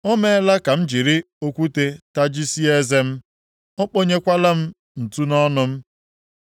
O meela ka m jiri okwute tajisie eze m, o kponyekwala m ntụ nʼọnụ m.